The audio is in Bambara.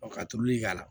Ɔ ka tulu k'a la